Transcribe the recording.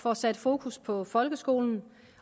får sat fokus på folkeskolen